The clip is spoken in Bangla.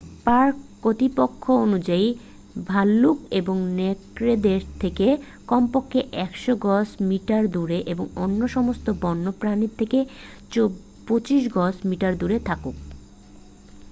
পার্ক কর্তৃপক্ষ অনুযায়ী ভাল্লুক এবং নেকড়েদের থেকে কমপক্ষে 100 গজ/মিটার দূরে এবং অন্য সমস্ত বন্য প্রাণী থেকে 25 গজ/মিটার দূরে থাকুন!